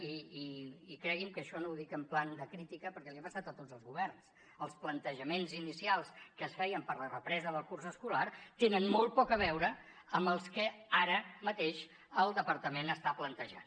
i creguin que això no ho dic en plan de crítica perquè els ha passat a tots els governs els plantejaments inicials que es feien per la represa del curs escolar tenen molt poc a veure amb els que ara mateix el departament està plantejant